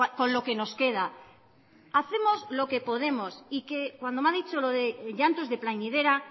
con lo que nos queda hacemos lo que podemos y que cuando me ha dicho lo de llantos de plañidera